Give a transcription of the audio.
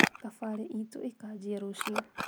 thabari itũ ikanjia rũciũ